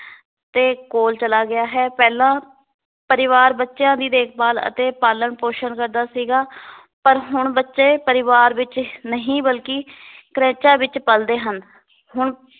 ਦੇ ਕੋਲ ਚਲਾ ਗਿਆ ਹੈ ਪਹਿਲਾਂ ਪਰਿਵਾਰ ਬੱਚਿਆਂ ਦੀ ਦੇਖ-ਭਾਲ ਅਤੇ ਪਾਲਣ ਪੋਸ਼ਣ ਕਰਦਾ ਸੀਗਾ ਪਰ ਹੁਣ ਬੱਚੇ ਪਰਿਵਾਰ ਵਿੱਚ ਨਹੀ ਬਲਕੀ ਕ੍ਰੈਚਾਂ ਵਿੱਚ ਪਲਦੇ ਹਨ ਹੁਣ